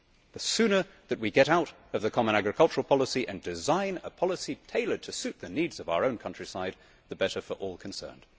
The sooner we get out of the Common Agricultural Policy and design a policy tailored to meet the needs of our countryside, the better for all concerned.